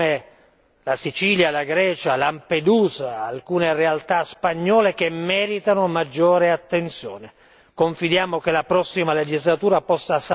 Dobbiamo ricordarci che vi sono realtà, come la Sicilia, la Grecia, Lampedusa, alcune realtà spagnole, che meritano maggiore attenzione.